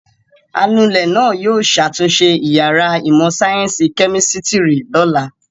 Anulẹ̀ náà yóò ṣàtúnṣe ìyàrá ìmọ̀-sáyẹ́ńsì kẹ́mísítírì lọ́la.